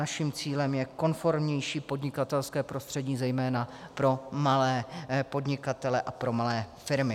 Naším cílem je konformnější podnikatelské prostředí, zejména pro malé podnikatele a pro malé firmy.